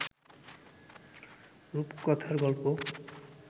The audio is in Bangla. রুপকথার গল্প